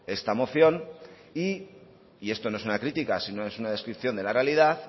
esta moción y esto no es una crítica sino es una descripción de la realidad